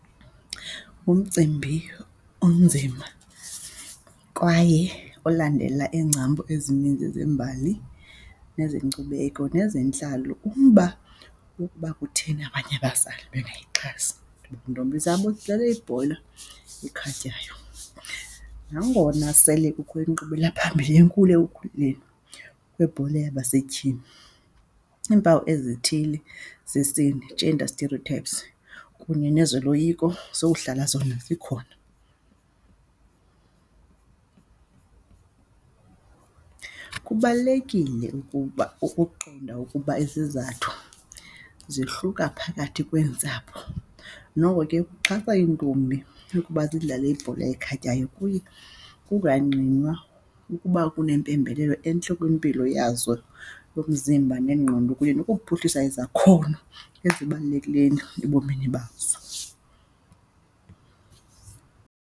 Ngumcimbi onzima kwaye olandela iingcambu ezininzi zembali nezenkcubeko, nezentlalo. Umba wokuba kutheni abanye abazali bengayixhasi iintombi zabo zidlale ibhola ekhatywayo. Nangona sele kukho inkqubela phambili enkulu, ekukhuleni kwebhola yabasetyhini, iimpawu ezithile zesini, gender stereotypes kunye nezoloyiko, zowuhlala zona zikhona. Kubalulekile ukuba ukuqonda ukuba izizathu zihluka phakathi kweentsapho. Noko ke ukuxhasa iintombi ukuba zidlale ibhola ekhatywayo kuye kungangqinwa ukuba kunempembelelo entle kwimpilo yazo yomzimba nengqondo kunye nokuphuhlisa izakhono ezibalulekileyo ebomini bazo.